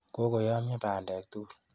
Kokoyamyo bandek tugul.